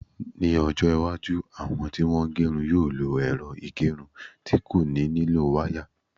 Ní ọjọ́-iwájú, àwọn tí wọ́n ń gerun yóò lo ẹ̀rọ ìgẹrun tí kò nílò wáyà.